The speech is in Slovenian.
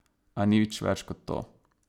A nič več kot to.